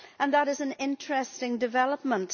That is an interesting development.